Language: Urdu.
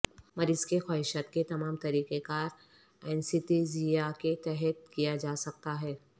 مریض کی خواہشات کے تمام طریقہ کار اینستھیزیا کے تحت کیا جا سکتا ہے